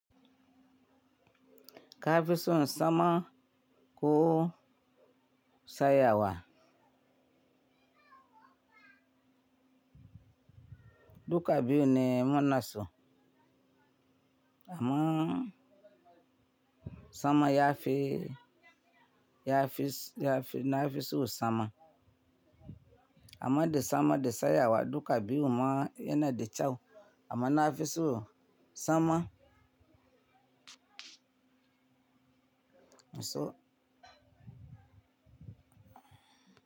Ka fi son sama ko saya wa. Duka biyun ne munaso. Ammm sama ya fi, ya fi, ya fi, na fi son sama. Amma da sama da satsayawa duka biyun ma yana da kyau amma na fi son sama. So.